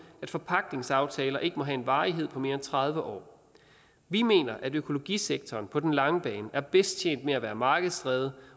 at forpagtningsaftaler ikke må have en varighed på mere end tredive år vi mener at økologisektoren på den lange bane er bedst tjent med at være markedsdrevet